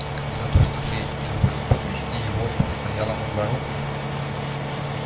за то что ты изволил подвезти его постоялому двору